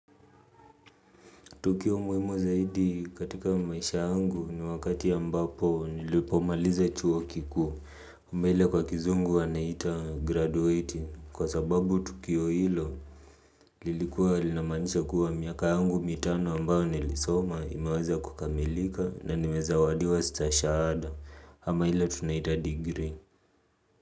Tukio muhimu zaidi katika maisha yangu ni wakati ya ambapo nilipomaliza chuo kikuu. Mbele kwa kizungu wanaita graduating kwa sababu tukio hilo lilikuwa linamaanisha kuwa miaka yangu mitano ambayo nilisoma imeweza kukamilika na nimezawadiwa stashahada ama ile tunaita degree.